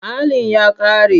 Allin ya ƙare.